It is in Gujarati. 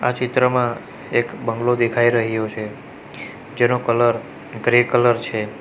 આ ચિત્રમાં એક બંગલો દેખાય રહ્યો છે જેનો કલર ગ્રે કલર છે.